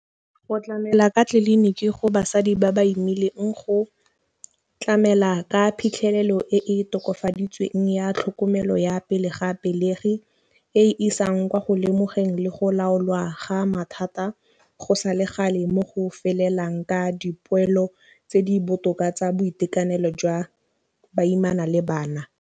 Go tlamela ka tliliniki go basadi ba ba imileng go tlamela ka phitlhelelo e e tokafaditsweng ya tlhokomelo ya pele ga pelegi, e isang kwa go lemogeng le go laolwa ga a mathata go sa le gale mo go felelang ka dipoelo tse di botoka tsa boitekanelo jwa baimana le bana.